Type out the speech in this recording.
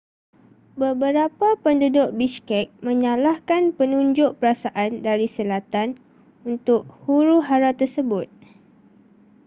beberapa penduduk bishkek menyalahkan penunjuk perasaan dari selatan untuk huru-hara tersebut